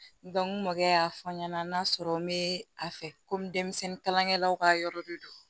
n mɔkɛ y'a fɔ n ɲɛna n'a sɔrɔ n bɛ a fɛ komi denmisɛnnin kalankɛlaw ka yɔrɔ de don